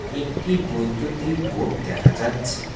একটি বৈদ্যুতিক বোর্ড দেখা যাচ্ছে।